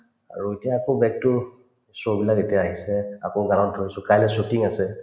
আৰু এতিয়া আকৌ show বিলাক এতিয়া আহিছে আকৌ ধৰিছো কাইলৈ shooting আছে